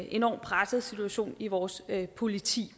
enorm presset situation i vores politi